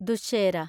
Dussehra